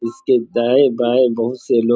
इसके दाएं-बाएं बहुत से लोग --